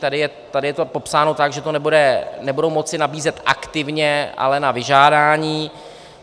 Tady je to popsáno tak, že to nebudou moci nabízet aktivně, ale na vyžádání.